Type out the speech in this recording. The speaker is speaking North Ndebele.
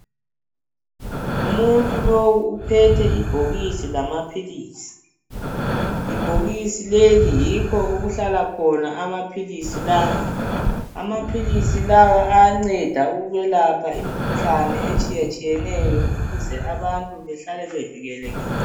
Umuntu lowu uphethe ibhokisi lamaphilisi, ibhokisi leli yikho okuhlala khona amaphilisi lawa, amaphilisi lawa ayanceda ukwelapha imikhuhlane etshiya tshiyeneyo ukuze abantu behlale bevikelekile.